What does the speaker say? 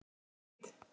Og hitt?